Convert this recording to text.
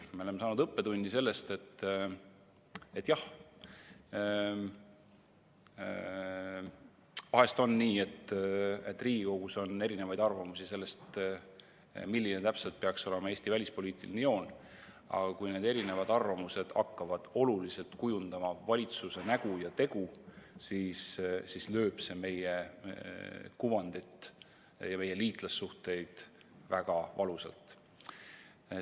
Me oleme saanud õppetunni, et jah, vahest on nii, et Riigikogus on erinevaid arvamusi selle kohta, milline täpselt peaks olema Eesti välispoliitiline joon, aga kui need erinevad arvamused hakkavad oluliselt kujundama valitsuse nägu ja tegu, siis lööb see meie kuvandit ja meie liitlassuhteid väga valusalt.